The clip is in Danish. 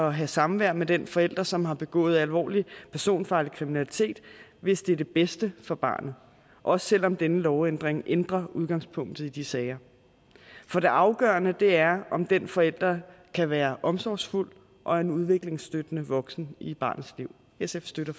at have samvær med den forælder som har begået alvorlig personfarlig kriminalitet hvis det er det bedste for barnet også selv om denne lovændring ændrer udgangspunktet i de sager for det afgørende er om den forælder kan være omsorgsfuld og en udviklingsstøttende voksen i barnets liv sf støtter